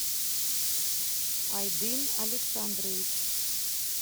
айдын александрович